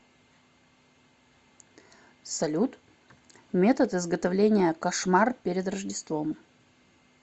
салют метод изготовления кошмар перед рождеством